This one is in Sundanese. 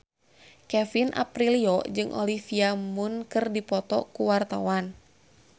Kevin Aprilio jeung Olivia Munn keur dipoto ku wartawan